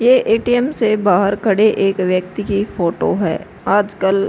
ये ए.टी.एम. से बाहर खड़े एक व्यक्ति की फोटो है। आजकल --